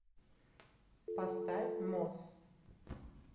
поставь моссс